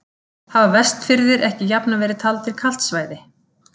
Hafa Vestfirðir ekki jafnan verið taldir kalt svæði?